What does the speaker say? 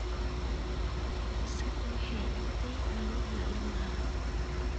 Bisadu waxay cabtay caanihii ilmaha